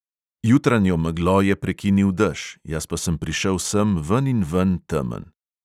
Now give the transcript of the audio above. Jutranjo meglo je prekinil dež, jaz pa sem prišel sem veninven temen.